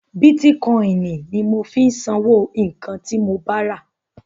Bítíkọ́inì ni mò ń fi sanwó nǹkan ti mo ba rà..